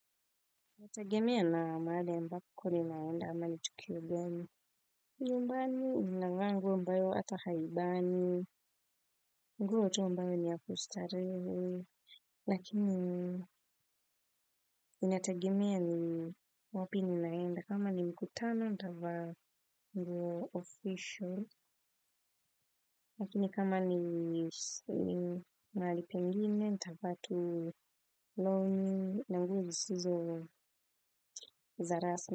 Inategemea na mahali ambako ninaenda ama ni tukio gani. Nyumbani ninavaa nguo ambayo hata haibani. Nguo tu ambayo ni ya kustarehe. Lakini, inategemea ni wapi ninaenda. Kama ni mkutano, nitavaa nguo official. Lakini kama ni mahali pengine, nitavaa tu longi. Na nguo zisizo za rasmi.